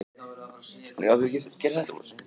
Þriðji kraftur kemur einnig við sögu, núningur.